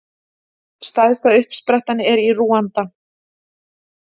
Stærsta uppsprettan er í Rúanda.